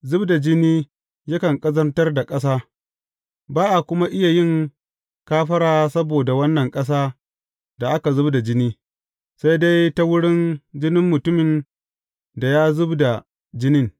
Zub da jini yakan ƙazantar da ƙasa, ba a kuma iya yin kafara saboda wannan ƙasa da aka zub da jini, sai dai ta wurin jinin mutumin da ya zub da jinin.